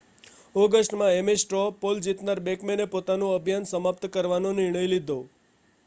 ઑગસ્ટમાં Ames straw poll જીતનાર બૅકમૅને પોતાનું અભિયાન સમાપ્ત કરવાનો નિર્ણય લીધો